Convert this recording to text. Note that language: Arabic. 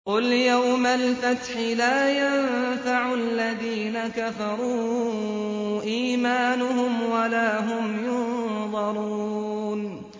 قُلْ يَوْمَ الْفَتْحِ لَا يَنفَعُ الَّذِينَ كَفَرُوا إِيمَانُهُمْ وَلَا هُمْ يُنظَرُونَ